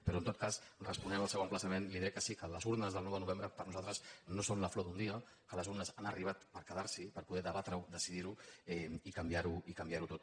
però en tot cas responent al seu emplaçament li diré que sí que les urnes del nou de novembre per nosaltres no són la flor d’un dia que les urnes han arribat per quedar s’hi per poder debatre ho decidir ho i canviar ho tot